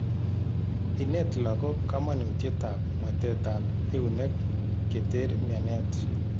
Ineet lagok kamanutyet ab mwetet ab eunek keter mianet